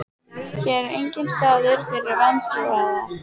Hér er enginn staður fyrir vantrúaða.